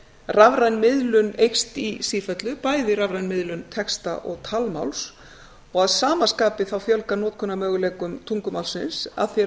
rafræn miðlun eykst í sífellubæði rafræn miðlun texta og talmáls og að sama skapi fjölgar notkunarmöguleikum tungumálsins að því er